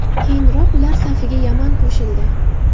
Keyinroq ular safiga Yaman qo‘shildi .